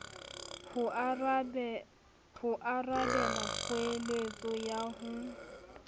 ho arabela kgoeletso ya ho